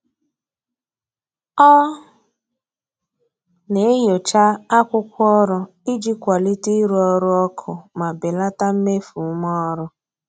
Ọ na-enyocha akwụkwọ ọrụ iji kwalite ịrụ ọrụ ọkụ ma belata mmefu ume ọrụ.